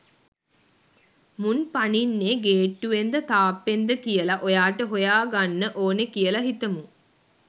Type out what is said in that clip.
මුන් පනින්නේ ගේට්ටුවෙන්ද තාප්පෙන්ද කියල ඔයාට හොයා ගන්න ඕනේ කියල හිතමු.